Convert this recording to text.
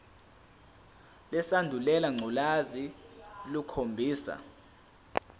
lesandulela ngculazi lukhombisa